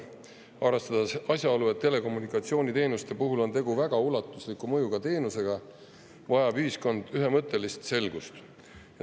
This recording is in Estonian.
Arvestades asjaolu, et telekommunikatsiooniteenuste puhul on tegu väga ulatusliku mõjuga teenusega, vajab ühiskond ühemõttelist selgust.